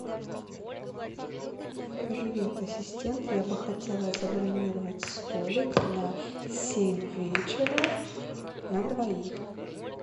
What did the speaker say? привет ассистент я бы хотела забронировать столик на семь вечера на двоих